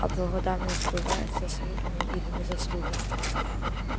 а благодарность бывает заслуженной или незаслуженной